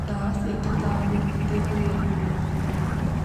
Ndawa cia tũtambi iteithagia kũnina mĩrimũ